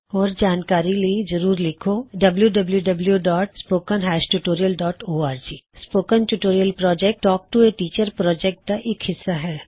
ਹੋਰ ਜਾਣਕਾਰੀ ਲਈ ਜਰੂਰ ਲਿਖੋ httpspoken tutorialorg spoken tutorial project talk to a teacher project ਦਾ ਇਕ ਹਿੱਸਾ ਹੈ